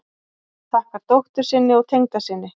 Þakkar dóttur sinni og tengdasyni